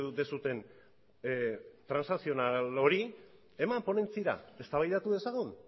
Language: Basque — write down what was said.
duzuen transakzional hori eman ponentziara eztabaidatu dezagun